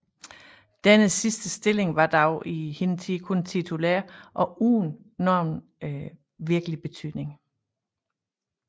Denne sidste stilling var dog i hin tid kun titulær og uden nogen virkelig betydning